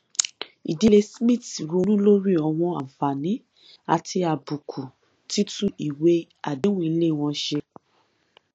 ìdílé smith ronú lórí àwọn àǹfààní àti àbùkù títún ìwé àdéhùn ilé wọn ṣe